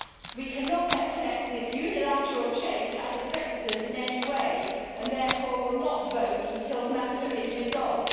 We cannot accept this unilateral change as a precedent in any way, and therefore we will not vote until the matter is resolved.